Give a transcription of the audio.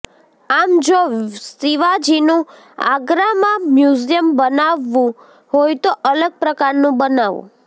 આમ જો શિવાજીનું આગ્રામાં મ્યુઝિયમ બનાવવું હોય તો અલગ પ્રકારનું બનાવો